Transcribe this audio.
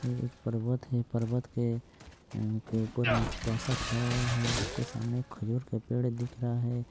ये एक पर्वत है पर्वत के ऊपर कुआसा छाया हुआ है और उसके सामने खुला पेड़ दिख रहा है।